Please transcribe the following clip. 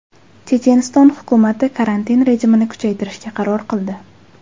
Checheniston hukumati karantin rejimini kuchaytirishga qaror qildi.